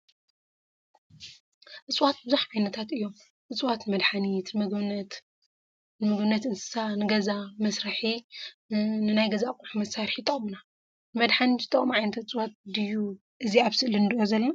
እፅዋት ብዙሓት ዓይነታት እዮም ።እፅዋት ንመድሓኒት ፣ንምግብነት እንስሳት፣ ንገዛ መስርሒ፣ ንናይ ገዛ ኣቁሑት መስርሒ ይጠቅሙና። ንመድሓኒት ዝጠቅሙ ዓይነት እፅዋት ዲዩ እዚ ኣብ ስእሊ እንሪኦ ዘለና ?